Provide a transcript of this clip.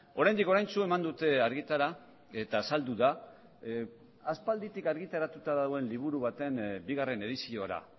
oraindik oraintsu eman dute argitara eta azaldu da aspalditik argitaratuta dagoen liburu baten bigarren ediziora